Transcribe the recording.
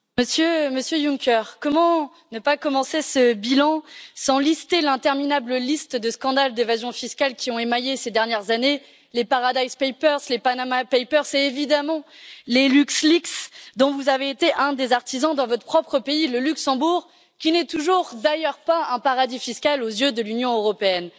Monsieur le Président, Monsieur Juncker, comment ne pas commencer ce bilan sans lister l'interminable liste de scandales d'évasion fiscale qui ont émaillé ces dernières années les Paradise Papers, les Panama Papers et, évidemment, les LuxLeaks, dont vous avez été un des artisans dans votre propre pays, le Luxembourg, qui n'est d'ailleurs toujours pas un paradis fiscal aux yeux de l'Union européenne.